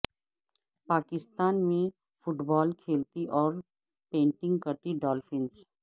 پاکستان میں football کھیلتی اور پینٹنگ کرتی ڈالفنز